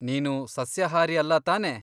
ನೀನು ಸಸ್ಯಾಹಾರಿ ಅಲ್ಲ ತಾನೆ?